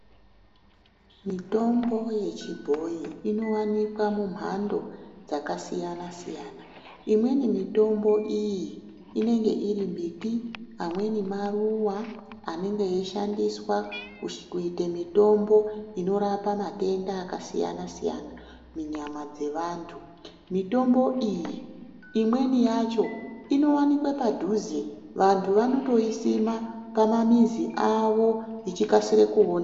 Mitombo yechibhoyi inowanikwa mumhando dzakasiyana siyana. Imweni mitombo iyi inenge iri mbiti, amweni maruwa anenge eyishandiswa kuite mitombo inorapa matenda akasiyana siyana munyama dzevantu. Mitombo iyi imweni yacho inowanikwe padhuze, antu anotoisima mumizi mwavo ichikasire kuoneka.